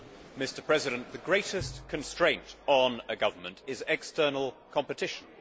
Mr President, the greatest constraint on a government is external competition.